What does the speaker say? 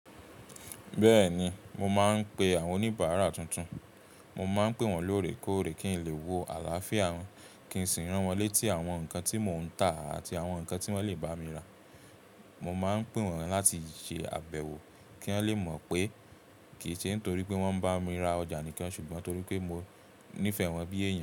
Bẹ́ẹ̀ni, mo máa ń pe àwọn oníbàárà tuntun. Mo máa ń pè wọ́n lóòrèkóòrè kí n lè wo àlàáfíà wọn kí n sì rán wọ́n létí àwọn nǹkan tí mò ń tà àti àwọn nǹkan tí wọ́n lè bá mi rà. Mo máa ń pè wọ́n láti ṣe àbẹ̀wò kí wọ́n lè mọ̀ pé kì í ṣe nítorí pé wọ́n ń bá mi ra ọjà nìkan ṣùgbọ́n torí pé mo nífẹ̀ẹ́ wọ́n bí èèyàn.